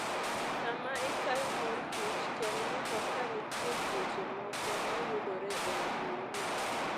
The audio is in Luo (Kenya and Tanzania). Sama ikayo morkich tem neno ka nitie tuoche moko mayudore e agulini.